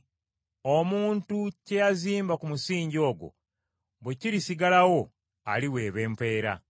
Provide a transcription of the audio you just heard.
Omuntu kye yazimba ku musingi ogwo bwe kirisigalawo, aliweebwa empeera.